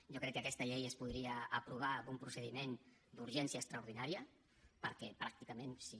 jo crec que aquesta llei es podria aprovar amb un procediment d’urgència extraordinària perquè pràcticament si